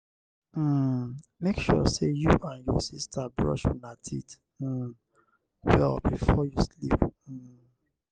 um make sure say you and your sister brush una teeth um well before you sleep. um